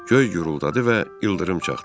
Göy guruldadı və ildırım çaxdı.